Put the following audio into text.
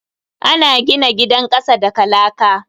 Ana gina gidan kasa daga laka.